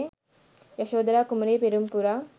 යසෝධරා කුමරිය පෙරුම් පුරා